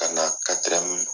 Ka na